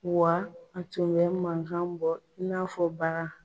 Wa a tun bɛ mankan bɔ n'afɔ bakan.